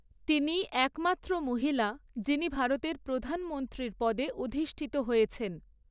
তিনিই একমাত্র মহিলা, যিনি ভারতের প্রধানমন্ত্রীর পদে অধিষ্ঠিত হয়েছেন।